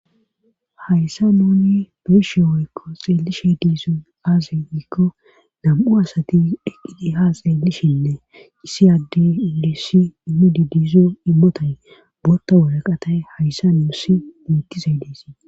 hayssa nuni beeshe woykko xeellishe diiso aazay wkko nam7u asati deqqidi ha xeellishinne isi addey ilissi immididiizo immotay bootta woraqatay hayssa nuussi muyttisay deesii